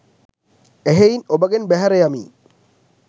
එහෙයින් ඔබගෙන් බැහැර යමී